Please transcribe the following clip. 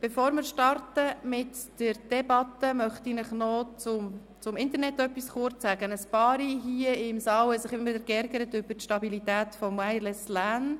Bevor wir mit der Debatte starten, möchte ich Ihnen kurz etwas zum Internetanschluss sagen: Einige von Ihnen hier im Saal haben sich immer wieder über die Stabilität des WLAN geärgert.